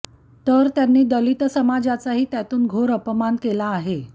तर त्यांनी दलित समाजाचाही त्यातून घोर अपमान केला आहे